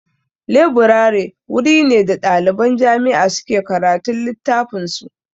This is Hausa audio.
Leburare wuri ne da ɗaliban jami'a suke karatun littafan su